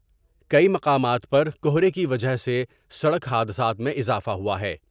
کئی مقامات پر کہرے کی وجہ سے سڑک حادثات میں اضافہ ہوا ہے ۔